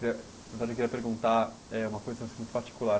Eh na verdade, eu queria perguntar eh uma coisa assim muito particular.